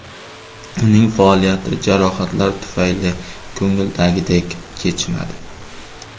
Uning faoliyati jarohatlar tufayli ko‘ngildagidek kechmadi.